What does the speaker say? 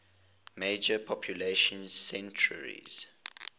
major population centers